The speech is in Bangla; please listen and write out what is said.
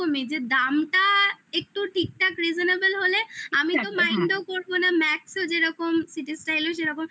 যে দামটা ঠিকঠাক reasonable হলে আমি তো mind ও করবো না max যেরকম citystyle এলো সেরকম